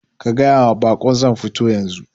Ka gayawa bakon zan futo yanzu